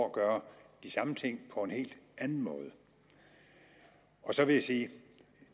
at gøre de samme ting på en helt anden måde så vil jeg sige